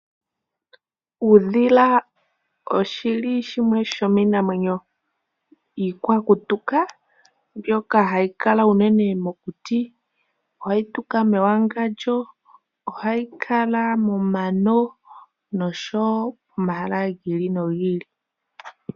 Uudhila oshili shimwe sho miinamwenyo iikwakutuka mbyoka hayi kala unene mokuti. Ohayi tuka mewangandjo, ohayi kala momano nosho wo omahala gi ili nogi ili.